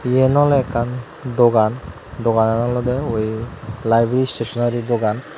iyen oley ekkan dogan doganan olodey ui laibii istesoneri dogan.